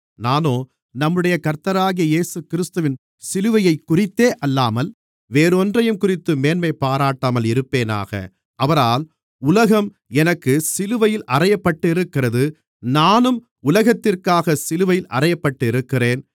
நானோ நம்முடைய கர்த்தராகிய இயேசுகிறிஸ்துவின் சிலுவையைக்குறித்தே அல்லாமல் வேறொன்றையும்குறித்துப் பெருமைபாராட்டாமல் இருப்பேனாக அவரால் உலகம் எனக்குச் சிலுவையில் அறையப்பட்டிருக்கிறது நானும் உலகத்திற்காகச் சிலுவையில் அறையப்பட்டிருக்கிறேன்